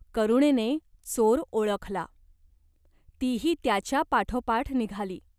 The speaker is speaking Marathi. करुणेने चोर ओळखला. तीही त्याच्या पाठोपाठ निघाली.